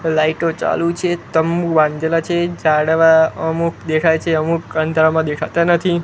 લાઈટો ચાલુ છે તંબુ બાંધેલા છે ઝાડવા અમુક દેખાય છે અમુક અંધારામાં દેખાતા નથી.